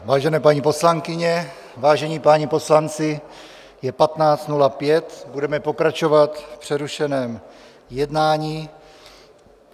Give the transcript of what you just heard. Vážené paní poslankyně, vážení páni poslanci, je 15.05, budeme pokračovat v přerušeném jednání.